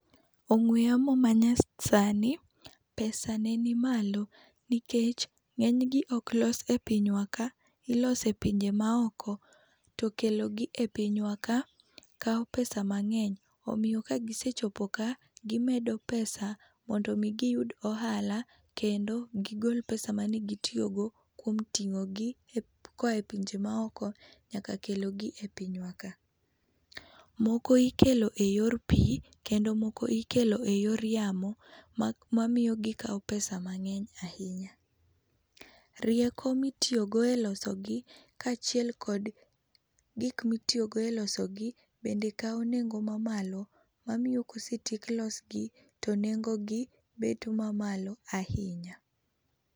Ong'we yamo manyasani, pesane nimalo nikech ng'enygi oklos e pinywa ka, ilose pinje maoko. To kelo gi e pinywa ka kao pesa mang'ey. Omio kagise chopo ka, gimedo pesa mondo giyud ohala kendo gigol pesa mane gitiogo kuom ting'o gi ep koae pinje maoko nyaka kelogi e pinywa ka. Moko ikelo e yor pii, kendo moko ikelo e yor yamo, ma mamio gikao pesa mang'eny ahinya. Rieko mitiogo e loso gi kaachiel kod gik mitiogo e loso gi, bende kao nengo mamalo mamio kosetiek losgi to nengogi bet mamalo ahinya.